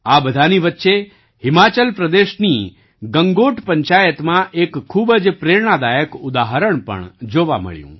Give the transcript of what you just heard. આ બધાની વચ્ચે હિમાચલ પ્રદેશની ગંગોટ પંચાયતમાં એક ખૂબ જ પ્રેરણાદાયક ઉદાહરણ પણ જોવા મળ્યું